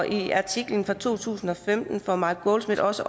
i artiklen fra to tusind og femten får mark goldsmith også